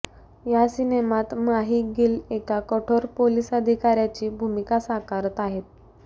या सिनेमात माही गिल एका कठोर पोलीस अधिकाऱ्याची भूमिका साकारत आहे